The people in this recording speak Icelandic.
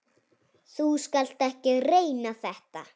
Þú skalt ekki reyna þetta.